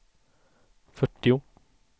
fyrtio